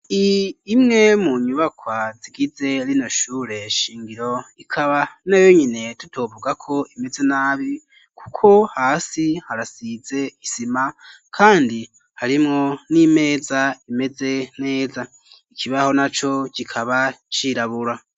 Iyi imwe mu nyubakwa igize shure shingiro ikaba na yo nyine tutovuga ko imeze nabi kuko hasi harasize isima kandi harimwo n'imeza imeze neza ikibaho na co kikaba cirabura.